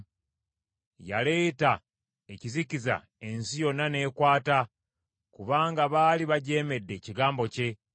Yaleeta ekizikiza ensi yonna n’ekwata, kubanga baali bajeemedde ekigambo kye.